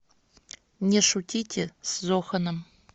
не шутите с зоханом